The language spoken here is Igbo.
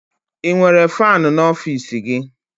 Ị nwere faanị n'ọfiisi gị?